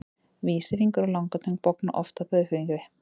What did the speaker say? Vísifingur og langatöng bogna oft að baugfingri.